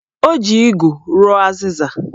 O ji igu rụọ azịza